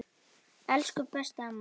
Elsku besta amma Erla.